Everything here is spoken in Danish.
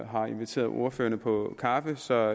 har inviteret ordførerne på kaffe så